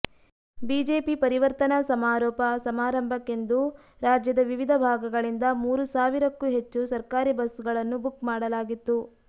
BJP ಪರಿವರ್ತನಾ ಸಮಾರೊಪ ಸಮಾರಂಭಕ್ಕೆಂದು ರಾಜ್ಯದ ವಿವಿಧ ಭಾಗಗಳಿಂದ ಮೂರು ಸಾವಿರಕ್ಕೂ ಹೆಚ್ಚು ಸರ್ಕಾರಿ ಬಸ್ ಗಳನ್ನು ಬುಕ್ ಮಾಡಲಾಗಿತ್ತು